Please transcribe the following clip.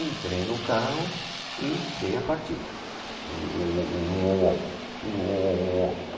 Entrei no carro e dei a partida. uôôô, uôôô